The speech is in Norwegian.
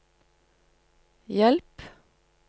hjelp